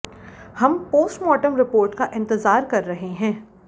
हम postmortem report का इंतजार कर रहे हैं